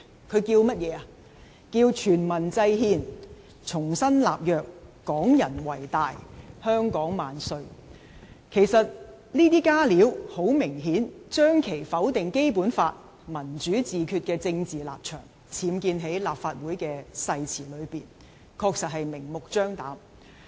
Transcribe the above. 他說"全民制憲、重新立約、港人為大、香港萬歲"，這些"加料"顯然將其否定《基本法》、"民主自決"的政治立場，僭建在立法會的誓詞內，確實明目張膽。